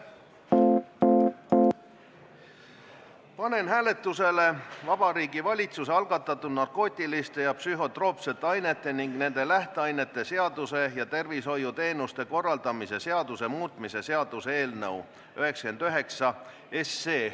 Panen hääletusele Vabariigi Valitsuse algatatud narkootiliste ja psühhotroopsete ainete ning nende lähteainete seaduse ja tervisehoiuteenuste korraldamise seaduse muutmise seaduse eelnõu 99.